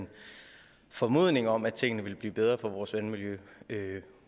en formodning om at tingene ville blive bedre for vores vandmiljø